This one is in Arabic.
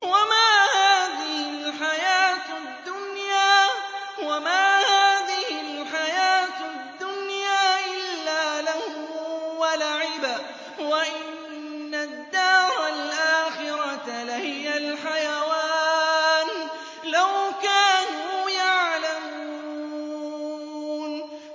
وَمَا هَٰذِهِ الْحَيَاةُ الدُّنْيَا إِلَّا لَهْوٌ وَلَعِبٌ ۚ وَإِنَّ الدَّارَ الْآخِرَةَ لَهِيَ الْحَيَوَانُ ۚ لَوْ كَانُوا يَعْلَمُونَ